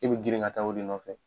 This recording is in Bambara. I bi girin ka taa o de nɔfɛ.